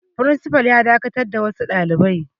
Firinsifal yana dakatar da wasu dalibai.